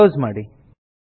close ಮಾಡಿ